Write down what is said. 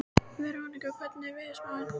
Veronika, hvernig er veðurspáin?